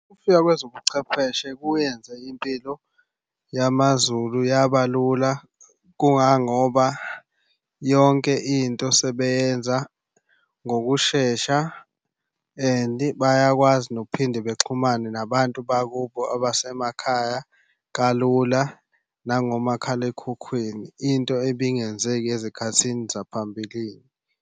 Ukufika kwezobuchwepheshe kuyenze impilo yamaZulu yaba lula kungangoba yonke into sebeyenza ngokushesha and bayakwazi ukuphinde bexhumane nabantu bakubo abasemakhaya kalula nangomakhalekhukhwini. Into ebingenzeki ezikhathini zaphambilini.